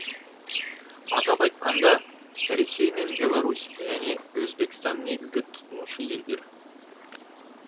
атап айтқанда ресей мен беларусь және өзбекстан негізгі тұтынушы елдер